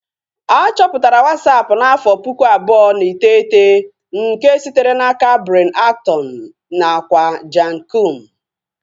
A chọpụtara Wasapu n'afọ pụkụ abụọ na iteghete nke sitere n'aka Brian Acton nakwa Jan Koum